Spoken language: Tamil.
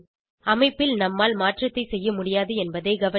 அமைப்பில் நம்மால் மாற்றத்தை செய்ய முடியது என்பதை கவனிக்க